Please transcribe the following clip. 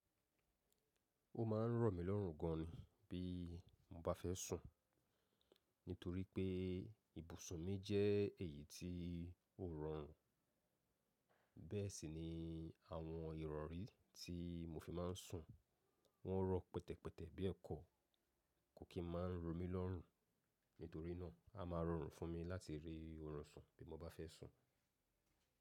Ó ma ń rọ̀ mí lọ́rùn gan bí mo bá fẹ́ sùn, nítorí pé ibùsùn mi jẹ́ èyí tí ó rọrùn. Bẹ́ẹ̀ sì ni àwọn ìrọ̀rí tí mo fi máa ń sùn, wọ́n rọ pẹtẹpẹtẹ bí ẹ̀kọ. Kò kí n máa ń rọ mí lọ́rùn, nítorí náà, a máa rọrùn fún mi láti rí oorun sùn bí mo bá fẹ́ sùn.